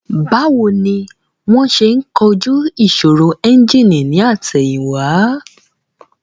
Báwo ni wón ṣe ń kojú ìṣòro ẹ́ńjìnì ní àtẹ̀yìn wá